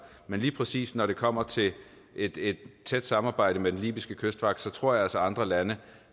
men lige præcis når det kommer til et et tæt samarbejde med den libyske kystvagt tror jeg altså at andre lande